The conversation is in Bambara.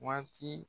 Waati